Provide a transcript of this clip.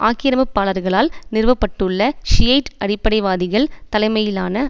ஆக்கிரமிப்பாளர்களால் நிறுவ பட்டுள்ள ஷியைட் அடிப்படைவாதிகள் தலைமையிலான